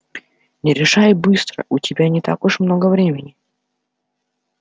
не решай быстро у тебя не так уж много времени